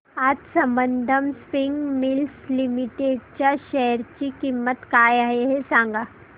आज Sambandham spinning mills limited च्या share ची किंमत काय आहे हे सांगा